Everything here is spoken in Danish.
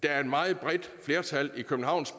er et meget bredt flertal i københavns